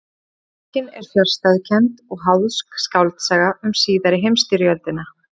Bókin er fjarstæðukennd og háðsk skáldsaga um síðari heimstyrjöldina.